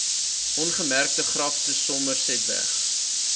ongemerkte grafte somersetweg